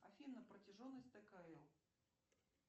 афина протяженность ткл